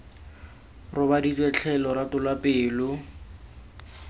robaditswe tlhe lorato lwa pelo